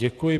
Děkuji.